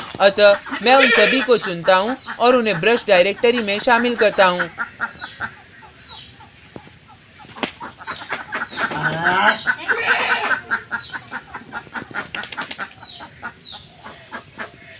अतः मैं उन सभी को चुनता हूँ और उन्हें ब्रश directory में शामिल करता हूँ